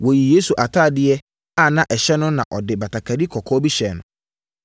Wɔyii Yesu atadeɛ a na ɛhyɛ no no de batakari kɔkɔɔ bi hyɛɛ no,